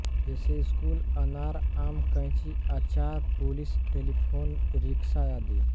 जैसे स्कूल अनार आम कैंची अचार पुलिस टेलीफोन रिक्शा आदि